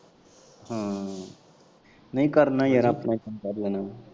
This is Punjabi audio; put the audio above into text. ਹਾਂ ਨਈ ਕਰਨਾ ਯਾਰ ਆਪਣਾ ਕੰਮ ਕਰ ਲੈਣਾ ਮੈਂ।